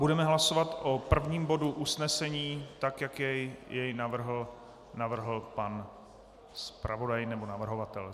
Budeme hlasovat o prvním bodu usnesení tak, jak jej navrhl pan zpravodaj nebo navrhovatel.